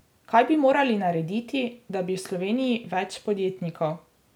Kaj bi morali narediti, da bi v Sloveniji več podjetnikov?